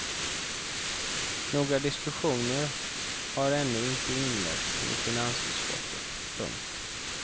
Några diskussioner har ännu inte inletts i finansutskottet. punkt